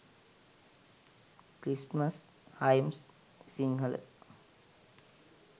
christmas hymns sinhala